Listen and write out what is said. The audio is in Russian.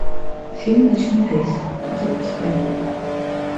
фильм ночной рейс запускай